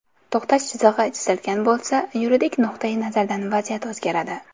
To‘xtash chizig‘i chizilgan bo‘lsa , yuridik nuqtai nazardan vaziyat o‘zgaradi.